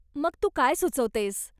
मग तू काय सुचवतेस ?